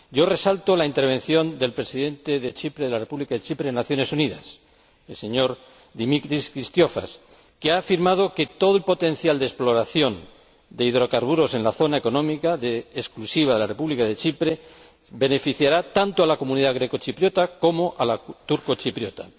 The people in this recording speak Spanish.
Resalto la intervención del Presidente de la República de Chipre en las Naciones Unidas, el señor Demetris Christofias, que ha afirmado que todo el potencial de exploración de hidrocarburos en la zona económica exclusiva de la República de Chipre beneficiará tanto a la comunidad grecochipriota como a la turcochipriota.